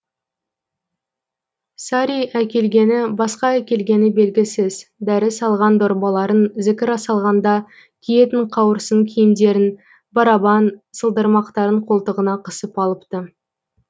сари әкелгені басқа әкелгені белгісіз дәрі салған дорбаларын зікір салғанда киетін қауырсын киімдерін барабан сылдырмақтарын қолтығына қысып алыпты